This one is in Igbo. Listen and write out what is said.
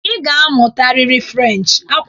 Ị ga-amụtarịrị Frenchị!